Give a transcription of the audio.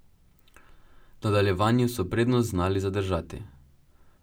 V nadaljevanju so prednost znali zadržati.